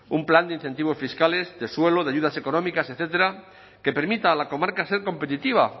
un plan de incentivos fiscales de suelo de ayudas económicas etcétera que permita a la comarca ser competitiva